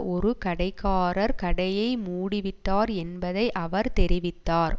ஒரு கடைக்காரர் கடையை மூடிவிட்டார் என்பதை அவர் தெரிவித்தார்